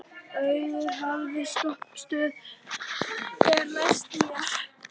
Auður, hvaða stoppistöð er næst mér?